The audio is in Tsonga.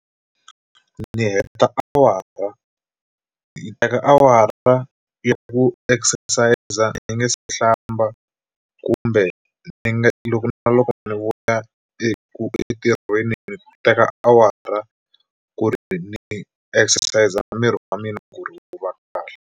Ni heta awara ni teka awara ya ku exercise ni nge se hlamba kumbe ni nge loko na loko ni vuya eku entirhweni ni teka awara ku ri ni exercise miri wa mina ku ri wu va kahle.